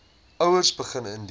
ouers begin indien